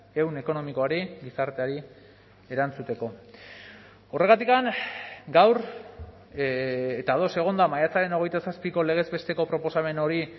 ehun ekonomikoari gizarteari erantzuteko horregatik gaur eta ados egon da maiatzaren hogeita zazpiko legez besteko proposamen hori